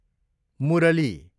मुरली